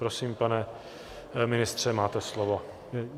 Prosím, pane ministře, máte slovo.